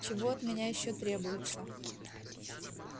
чего от меня ещё требуется